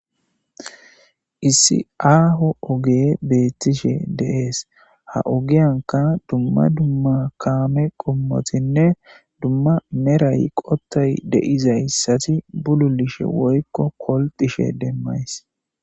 Issi aaho oge beettishe deees ha ogiyanka dumma dumma kaame qommotinne dumma meray qottay deizayssati bululishe woykko kolxishe demmays.